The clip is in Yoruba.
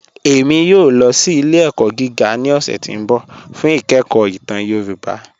Ẹ̀mí yòò lọ sí ilẹ̀-ẹ̀kọ̀ gígà ní ọ̀ṣẹ̀ tí n bọ̀ fún ìkẹ̀kọ̀ ìtàn Yorùbá.